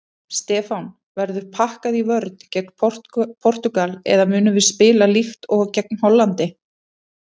Stefán: Verður pakkað í vörn gegn Portúgal eða munum við spila líkt og gegn Hollandi?